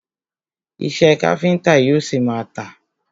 Iṣẹ́ káfíńńtà yóò ṣi má a tà.